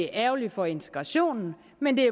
ærgerligt for integrationen men det